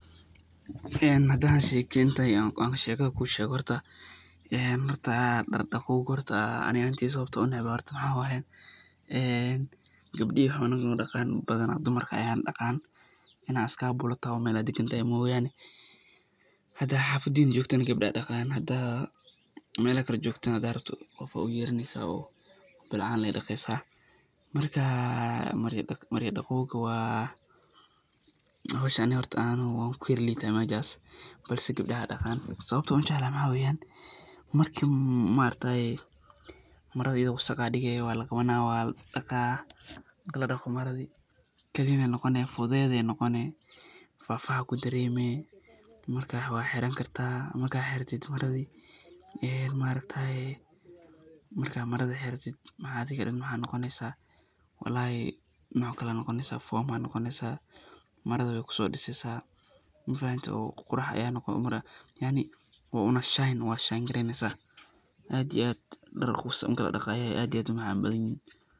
Sheygan hadaan kashekeyo, sheekada aan kuu sheego, horta dar daqoowga horta ani ahaan teyda sababta aan unacbahay waxaa waye, gabdaha ayaa noo daqaan badanaa dumarka ayaana daqaana, inaad skabula toho oo meelaha dagan tahay mooyane, hadaad xafadiin joogtana Gabdha ayaa daqaayan hadaad mela kale joogtana hadaad rabto qof ayaa uyeraneysa oo bilcaan lee daqeysa, marka marya daqoowga waa horta ani ahaan waan kuyar liita meeshaas balse gabdaha ayaa daqaan, sababta aan ujeclahay waxaa waye, marki maargtaye marada ayado wasaq ah ayaa digee waa laqabanaa waa la daqaa, marki ladoqo maradi kadib waxeey noqonee fudeed ayeey noqonee, faxfax ayaa kudaremee marka waa xiran kartaa markaad xiratid maradii, adhiga dan walahi nooc kale ayaad noqoneysa [form]ayaa noqoneysa, maradi waay kusoo diseeysa, oo qurux ayaa noqone [yaani una shine]darka marki ladoqo ayeey aad umacaan badan yihiin.